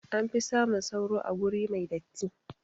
Anfi samun sauro a guri mai datti